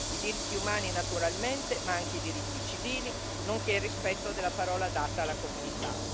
I diritti umani, naturalmente, ma anche i diritti civili, nonché il rispetto della parola data alla comunità.